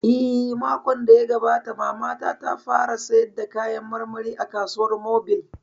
Eh, makon da ya gabata Mamana ta fara sayar da kayan marmari a kasuwar mobil